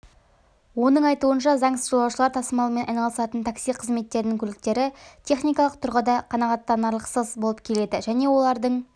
оның айтуынша заңсыз жолаушылар тасымалмен айналысатын такси қызметерінің көліктері техникалық тұрғыда қанағаттанарлықсыз болып келеді және олардың